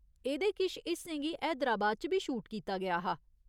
एह्दे किश हिस्सें गी हैदराबाद च बी शूट कीता गेआ हा।